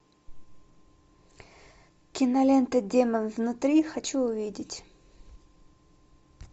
кинолента демон внутри хочу увидеть